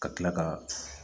Ka tila ka